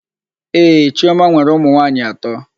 Ee, chiọma nwere ụmụnwaanyị atọ.